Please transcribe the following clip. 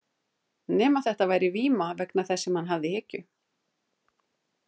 Nema þetta væri víma vegna þess sem hann hafði í hyggju.